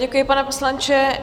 Děkuji, pane poslanče.